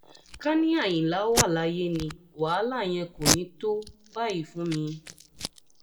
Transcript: ká ní àyìnlá wa láyé ni wàhálà yẹn kò ní í tó báyìí fún mi